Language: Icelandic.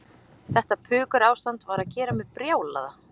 Þetta pukurástand var að gera mig brjálaða